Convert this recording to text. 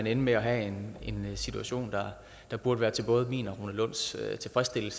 ende med at have en situation der burde være til både min og rune lunds tilfredshed